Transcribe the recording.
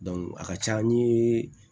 a ka ca n ye